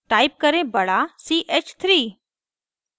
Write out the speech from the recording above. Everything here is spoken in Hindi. type करें बड़ा c h 3